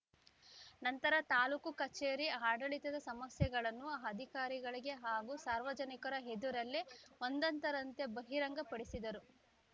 ನಂತರ ತಾಲೂಕು ಕಚೇರಿ ಆಡಳಿತದ ಸಮಸ್ಯೆಗಳನ್ನು ಅಧಿಕಾರಿಗಳಿಗೆ ಹಾಗೂ ಸಾರ್ವಜನಿಕರ ಎದುರಲ್ಲೇ ಒಂದಂದರಂತೆ ಬಹಿರಂಗ ಪಡಿಸಿದರು